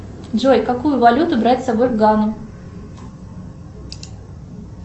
джой какую валюту брать с собой в гану